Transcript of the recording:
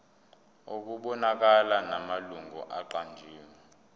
okubonakalayo namalungu aqanjiwe